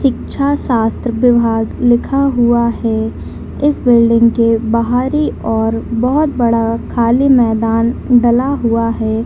शिक्षा शास्त्र विभाग लिखा हुआ है इस बिल्डिंग के बाहर ही और बहुत बड़ा खाली मैदान डला हुआ है।